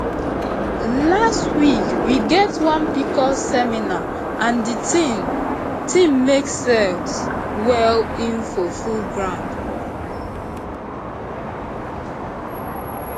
last week we get one pcos seminar and the thing thing make sense well info full ground